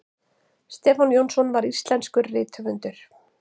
stefán jónsson var íslenskur rithöfundur